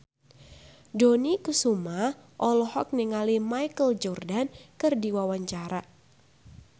Dony Kesuma olohok ningali Michael Jordan keur diwawancara